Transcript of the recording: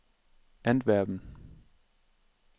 Antwerpen